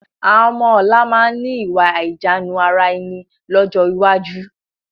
Àwọn ọmọ ọ̀la máa ni ìwà àìníjàánu ara ẹni lọ́jọ́ iwájú